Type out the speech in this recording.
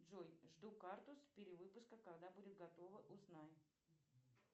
джой жду карту с перевыпуска когда будет готова узнай